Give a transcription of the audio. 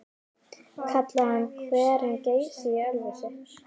Kallaði hann hverinn Geysi í Ölfusi.